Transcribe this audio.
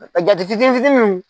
Ka jatigi den fitini nunnu